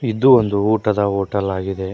ಇದು ಒಂದು ಊಟದ ಹೋಟೆಲ್ ಆಗಿದೆ.